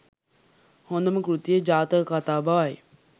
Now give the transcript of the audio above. හොඳම කෘතිය ජාතක කතා බවයි.